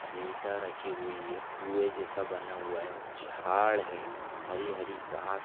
इटा रखी हुई है कुंए जैसा बना हुआ है झाड है हरी -हरी घास--